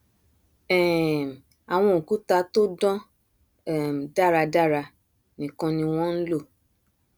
um àwọn òkúta tó dán um dáradára nìkan ni wọn nlò